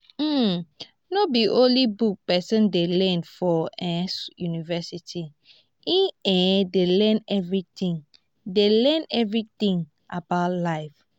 um no be only book pesin dey learn for um university e um dey learn everytin dey learn everytin about life.